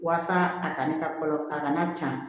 Walasa a kana kɔlɔ a kana ca